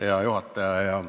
Hea juhataja!